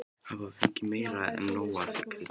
Hafði fengið meira en nóg af því kryddi.